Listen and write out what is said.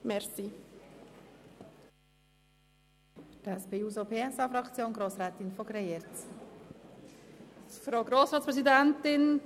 Für die SP-JUSO-PSA-Fraktion hat Grossrätin von Greyerz das Wort.